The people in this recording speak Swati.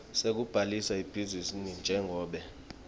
sekubhalisa ibhizinisi njengobe